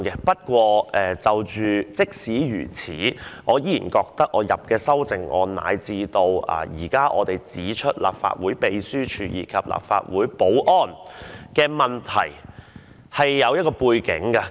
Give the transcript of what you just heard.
不過，儘管如此，我依然覺得就我提出的修正案，乃至我們現在指出立法會秘書處，以及立法會保安的問題而言，是有其背景的。